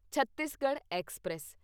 Chhattisgarh express